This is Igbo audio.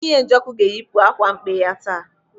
Nwunye Njoku ga-eyipu akwa mkpe ya taa.